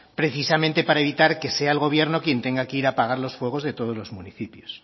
precisamente para evitar que sea el gobierno quien tenga que ir pagar los fuegos de todos los municipios